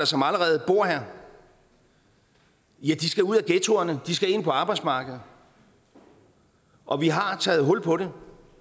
som allerede bor her skal ud af ghettoerne og ind på arbejdsmarkedet og vi har taget hul på det